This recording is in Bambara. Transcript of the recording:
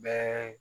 Bɛɛ